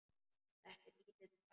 Þetta er lítill bær.